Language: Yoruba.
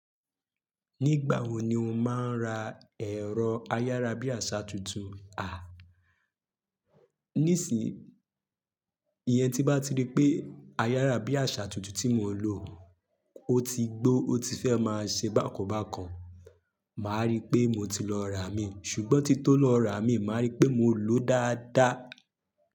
Nígbà wo ni o máa ń ra ẹ̀rọ ayárabíàṣá tuntun? A! Nísìyí, ìyẹn tí bá ti rí pé ayárabíàṣá tuntun tí mò ń lò ó ti gbó ó ti fẹ́ máa ṣe bákan bákan, màá rí pé mo ti lọ rà mí. Ṣùgbọ́n tí tó lọ rà mí, màá rí pé mò ń lò ó dáadáa.